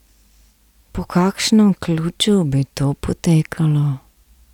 Po kakšnem ključu bi to potekalo?